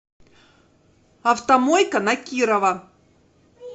автомойка на кирова